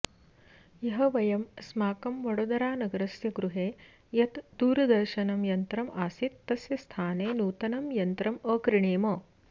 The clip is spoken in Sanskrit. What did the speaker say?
ह्यः वयम् अस्माकं वडोदरानगरस्य गृहे यत् दूरदर्शनयन्त्रम् आसीत् तस्य स्थाने नूतनं यन्त्रम् अक्रीणीम